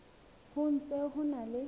ho ntse ho na le